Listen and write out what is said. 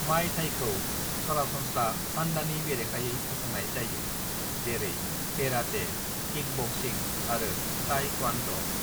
"मॉय थाईखौ सरासनस्रा सान्डानि बेरेखायै फसंनाय जायो, जेरै केराटे, किकबक्सिंग आरो ताइ क्वान ड'।"